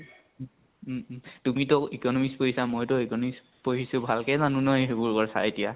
উম um. তুমি তো economics কৰিছা মই তো economics পঢ়িছো, ভালকেই জানো ন এইবিলাক কথা